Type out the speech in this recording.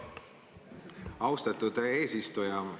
Austatud eesistuja!